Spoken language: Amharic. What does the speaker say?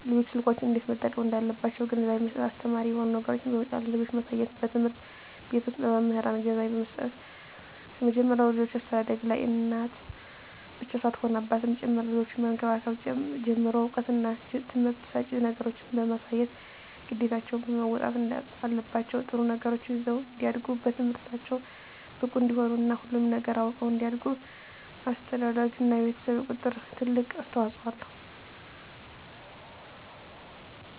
ልጆች ስልኮችን እንዴት መጠቀም እንዳለባቸዉ ግንዛቤ መስጠት አስተማሪ የሆኑ ነገሮችን በመጫን ለልጆች ማሳየትበትምህርት ቤት ዉስጥ በመምህራን ግንዛቤ መስጠት ከመጀመሪያዉ የልጆች አስተዳደግላይ እናት ብቻ ሳትሆን አባትም ጭምር ልጆችን ከመንከባከብ ጀምሮ እዉቀትና ትምህርት ሰጭ ነገሮችን በማሳየት ግዴታቸዉን መወጣት አለባቸዉ ጥሩ ነገሮችን ይዘዉ እንዲያድጉ በትምህርታቸዉ ብቁ እንዲሆኑ እና ሁሉንም ነገር አዉቀዉ እንዲያድጉ አስተዳደርግ እና የቤተሰብ ቁጥጥር ትልቅ አስተዋፅኦ አለዉ